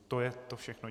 To je to všechno.